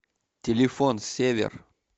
телефон север